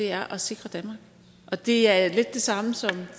er at sikre danmark og det er så lidt det samme som